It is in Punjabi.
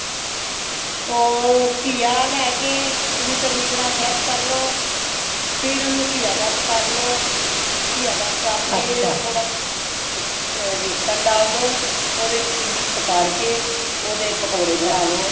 ਉਹ ਕਿਆ ਲੇਕੇ ,ਓਨੂੰ ਚੰਗੀ ਤਰਾਂ fresh ਕਰ ਲੋ। ਫੇਰ ਓਨੁ ਕਿਆਕਸ ਕਰ ਲੋ , ਕਿਆਕਸ ਕਰ ਕੇ ਥੋੜਾ mix ਅ ਵੇਸਣ ਡਾਲ ਦੋ , ਓਦੇ ਵਿਚ mix ਕਰ ਕੇ ਓਦੇ ਪਕੌੜੇ ਬਣਾ ਲੋ